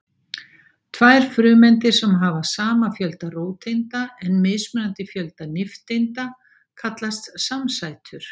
tvær frumeindir sem hafa sama fjölda róteinda en mismunandi fjölda nifteinda kallast samsætur